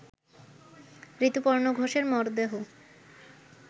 ঋতুপর্ণ ঘোষের মরদেহ